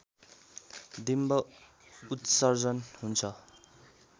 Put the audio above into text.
डिम्ब उत्सर्जन हुन्छ